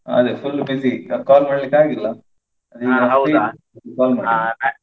ಅದೇ full busy call ಮಾಡ್ಲಿಕ್ಕೆ ಆಗ್ಲಿಲ್ಲ ಅದೇ ಇವತ್ತು call ಮಾಡಿದ್ದು.